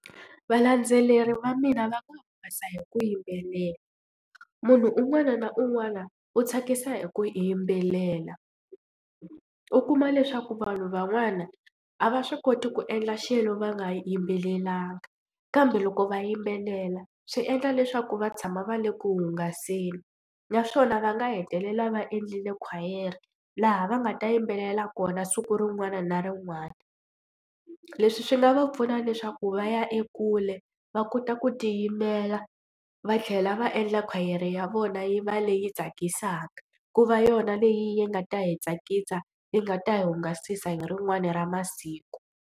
Valandzeleri va mina va nga hungasa hi ku yimbelela munhu un'wana na un'wana u tsakisa hi ku yimbelela u kuma leswaku vanhu van'wana a va swi koti ku endla xilo va nga yimbelelaka kambe loko va yimbelela swi endla leswaku va tshama va le ku hungaseni naswona va nga hetelela va endlile khwayere laha va nga ta yimbelela kona siku rin'wana na rin'wana. Leswi swi nga va pfuna leswaku va ya ekule va kota ku tiyimela va tlhela va endla khwayere ya vona yi va leyi tsakisaka ku va yona leyi yi nga ta hi tsakisa yi nga ta hi hungasisa hi rin'wani ra masiku.